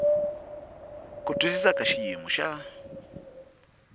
ku twisisa ka xiyimo xa